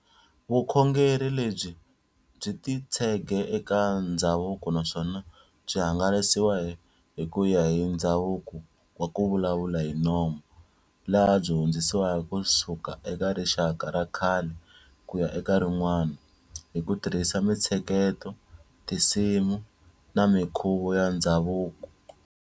Vukhongeri lebyi byi titshege eka ndzhavuko naswona byi hangalasiwa hikuya hi ndzhavuko wa kuvulavula hinomo, laha byi hundzisiwka kusuka eka rixaka rakhale kuya eka rin'wana, hi kutirhisa mitsheketo, tinsimu na minkhuvo ya ndzhavuko.